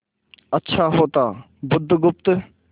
अच्छा होता बुधगुप्त